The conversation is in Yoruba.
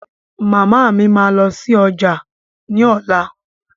Màmá mi máa lọ sí ọjà ní ọ̀la.